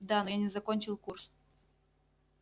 да но я не закончил курс